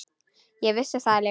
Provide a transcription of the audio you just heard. Ég vissi það líka.